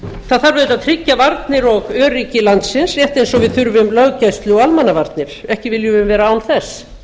það þarf auðvitað að tryggja varnir og öryggi landsins rétt eins og við þurfum löggæslu og almannavarnir ekki viljum við vera án þess